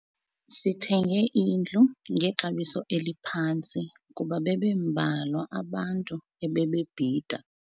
Sithenge indlu ngexabiso eliphantsi kuba bebembalwa abantu ebebebhida.